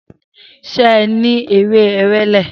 Se e ni ewe ewele?